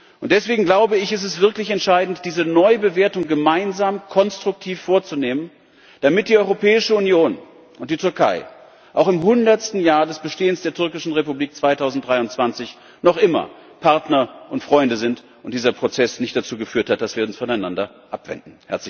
Und deswegen, glaube ich, ist es wirklich entscheidend, diese Neubewertung gemeinsam konstruktiv vorzunehmen, damit die Europäische Union und die Türkei auch im hundertsten Jahr des Bestehens der Republik Türkei 2023 noch immer Partner und Freunde sind und dieser Prozess nicht dazu geführt hat, dass wir uns voneinander abwenden.